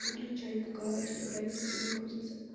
выключай пока телеграмме что-то загрузится